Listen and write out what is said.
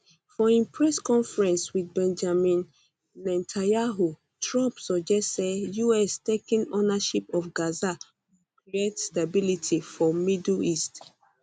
for im press conference wit benjamin netanyahu trump suggest say us taking ownership of gaza go create stability for middle east